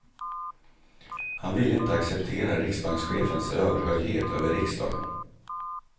Han ville inte acceptera riksbankschefens överhöghet över riksdagen.